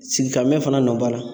Sigi ka mɛn fana nɔ b'a la